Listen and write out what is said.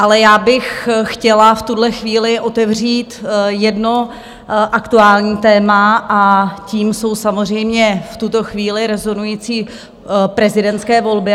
Ale já bych chtěla v tuhle chvíli otevřít jedno aktuální téma a tím jsou samozřejmě v tuto chvíli rozhodující prezidentské volby.